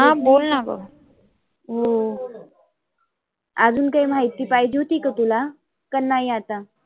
बोलना ग. हो आजुन काही माहिती पाहिजे होती का तुला? का नाही आता?